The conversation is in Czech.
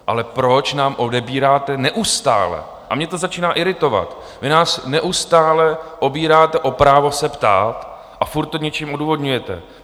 Ale proč nám odebíráte neustále - a mě to začíná iritovat - vy nás neustále obíráte o právo se ptát a furt to něčím odůvodňujete.